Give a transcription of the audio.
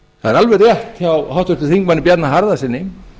það er alveg rétt hjá háttvirtum þingmanni bjarna harðarsyni